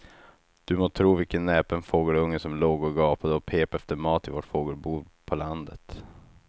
Du må tro vilken näpen fågelunge som låg och gapade och pep efter mat i vårt fågelbo på landet.